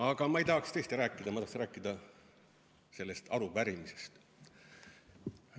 Aga ma ei tahaks tõesti sellest rääkida, ma tahaks rääkida arupärimisest.